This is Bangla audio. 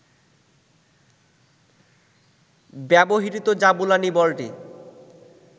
ব্যবহৃত জাবুলানি বলটি